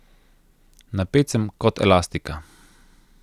Napet sem kot elastika.